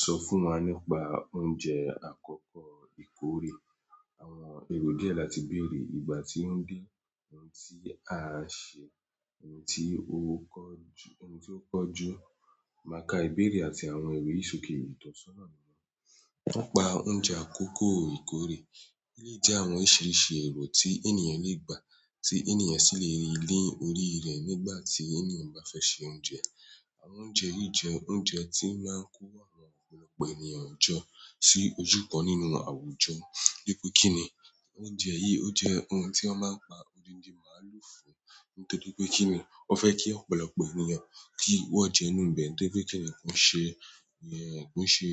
Sọ fún wa nípa oúnjẹ àkọ́kọ́ ìkórè, àwọn èrò díẹ̀ láti bèrè, ìgbà tí ó dé, ohun tí a n ṣe, ohun tí ó kọjú, ohun tí ó kọjú, mákà ìbéèrè àti àwọn ìwé sòke ìtọ́sọ́nà, nípa oúnjẹ àkọ́kọ́ ìkórè, olé jẹ́ àwọn oríṣiríṣi èrò tí ènìyàn lè gbà tí ènìyàn sì lè rí ni órí rẹ̀ nígbà tí ènìyàn bá fẹ́ se oúnjẹ. Àwọn oúnjẹ yìí jẹ́ oúnjẹ tí máa ń kó àwọn ọ̀pọ̀lọpọ̀ ènìyàn jọ sí ojúbọ nínú àwùjọ. Bí pé kíni oúnjẹ yìí, ó jẹ́ ohun tí wọ́n máa ń pa odindi màálù fún nítorí pé kíni wọ́n fẹ́ kí ọ̀pọ̀lọpọ̀ ènìyàn kí wọ́n jẹunú ibẹ̀, nítorí pé kíni kó ṣe ìyẹn kó ṣe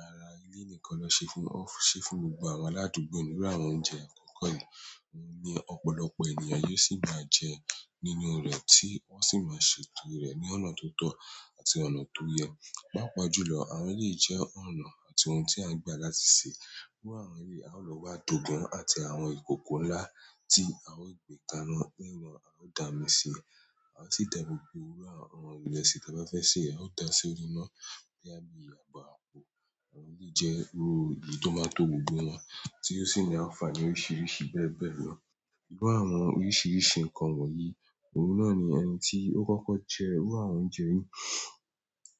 ara ilé nìkan ló ṣe fún, ó ń ṣe fún gbogbo àwọn aládùúgbò ní iru àwọn oúnjẹ àkọ́kọ́ yìí. Ohun ní ọ̀pọ̀lọpọ̀ ènìyàn yóò sì máa jẹ nínú rẹ̀ tí wọ́n sì máa ṣètò rẹ̀ ní ọ̀nà tó tọ́ àti ọ̀nà tó yẹ. Pápá jú lọ, àwọn eleyìí jẹ́ ọ̀nà àti ohun tí a ń gbà láti sè, iru àwọn eré a ó lọ wá adògán àti àwọn ìkòkò ńlá tí a ó gbéka ina, a ó dà mí sí i, a o sì tẹ gbogbo owurọ̀ àwọn ìrẹsì tí a bá fẹ́ sè, a ó dàá sí orí iná boya bí abo àpò. Àwọn yìí jẹ́ iru èyí tó máa ń tò gbogbo wọn tí ó sì ń ánfàní oríṣiríṣi bẹ́ẹ̀ bẹ́ẹ̀ lọ. Iru àwọn oríṣiríṣi nkan wọ̀nyí, oun na ni ẹni ti okoko je iru àwọn oúnjẹ yi,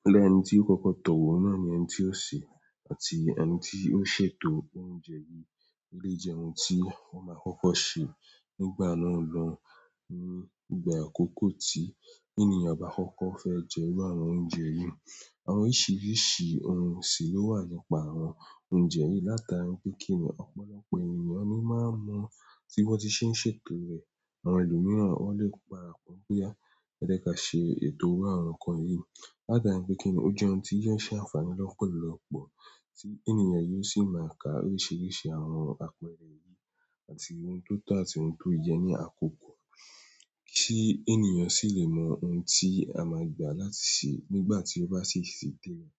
iru ẹni ti okoko towo oun na ni ẹni ti o se àti ẹni tibo se to oúnjẹ yìí. Olé jẹ́ ohun tí wọ́n máa kọ́kọ́ sè nígbà náà lọ ohun, ní ìgbà àkọ́kọ́ tí ènìyàn bá kọ́kọ́ fẹ́ jẹ ru àwọn oúnjẹ yìí. Àwọn oríṣiríṣi ohun sì ló wà nípa àwọn oúnjẹ yìí látara pé kíni ọ̀pọ̀lọpọ̀ ènìyàn ni máa mọ tí wọ́n ti ṣe ń ṣètò rẹ̀. Àwọn èlomiran wọ́n lè para pọ́n pé a, ẹ jẹ́ ká ṣe ètò iru àwọn nǹkan yìí látara pé kíni ó jẹ́ ohun tí yóò ṣe àǹfààní lọ́pọ̀lọpọ̀ tí ènìyàn yóò sì máa ka oríṣiríṣi àwọn àpẹẹrẹ yìí àti ohun tó tọ́ àti ohun tó yẹ ní àkókò tí ènìyàn sì lè mọ ohun tí a máa gbà láti sè nígbà tí ó bá sì ṣètò rẹ̀.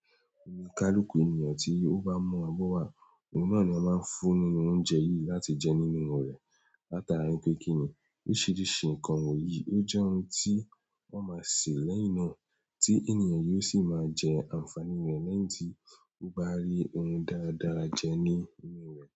Onikaluku ènìyàn tí ó bá mu abọ́ wá, ohun náà ni a máa ń fún nínú oúnjẹ yìí láti jẹ nínú rẹ̀ látara pé kíni oríṣiríṣi nǹkan wọ̀nyí ó jẹ́ ohun tí wọ́n máa sè lẹ́yìn náà tí ènìyàn yóò sì máa jẹ àǹfààní rẹ̀ lẹ́yìn tí ó bá rí ohun dáradára jẹ ní inú rẹ̀.